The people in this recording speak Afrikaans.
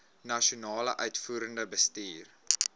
nasionale uitvoerende bestuur